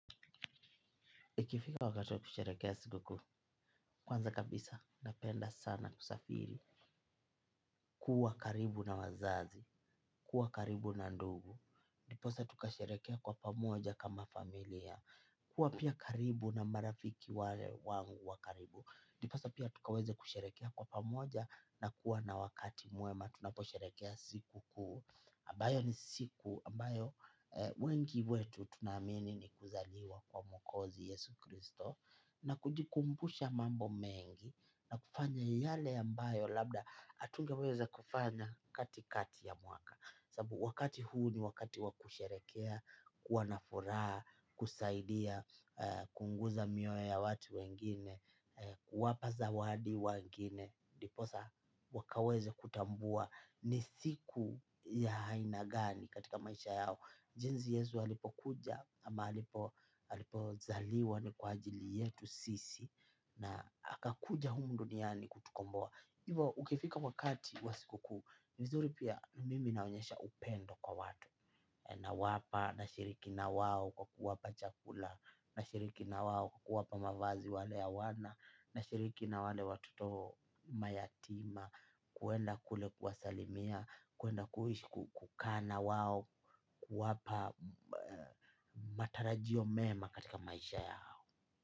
Ikifika wakati wa kusherehekea siku kuu, kwanza kabisa napenda sana kusafiri. Kuwa karibu na wazazi, kuwa karibu na ndugu, ndiposa tukasherehekea kwa pamoja kama familia, kuwa pia karibu na marafiki wale wangu wa karibu, ndiposa pia tukaweze kusherehekea kwa pamoja na kuwa na wakati mwema tunaposherehekea sikukuu ambayo ni siku ambayo wengi wetu tunaamini ni kuzaliwa kwa mwokozi Yesu Kristo. Na kujikumbusha mambo mengi na kufanya yale ambayo labda hatungeweza kufanya katikati ya mwaka sababu wakati huu ni wakati wakusherehekea kuwa na furaha, kusaidia kuguza mioyo ya watu wengine, kuwapa zawadi wengine ndiposa wakaweze kutambua ni siku ya aina gani katika maisha yao. Jinsi yesu alipokuja ama alipozaliwa ni kwa ajili yetu sisi na akakuja humu duniani kutukomboa. Hivo, ukifika wakati wa sikukuu ni vizuri pia mimi naonyesha upendo kwa watu nawapa, nashiriki na wao kwa kuwapa chakula, nashiriki na wao kwa kuwapa mavazi wale hawana, nashiriki na wale watoto mayatima. Kuenda kule kuwasalimia, kuenda kukaa na wao. Kuwapa matarajio mema katika maisha yao.